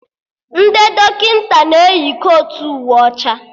Ndị dọkịta na-eyi kotu uwe ọcha